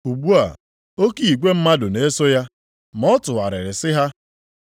Ugbu a, oke igwe mmadụ na-eso ya ma ọ tụgharịrị sị ha: